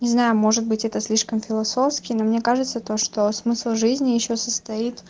не знаю может быть это слишком философски но мне кажется то что смысл жизни ещё состоит